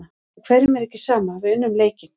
En hverjum er ekki sama, við unnum leikinn.